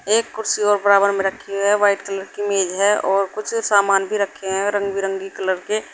एक कुर्सी और बराबर में रखी हुई है व्हाइट कलर की मेज है और कुछ सामान भी रखे हैं रंग बिरंगी कलर के--